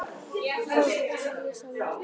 Skálholtsstaður líður, sagði Marteinn.